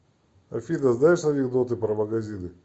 афина знаешь анекдоты про магазины